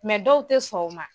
dɔw te sɔn o ma.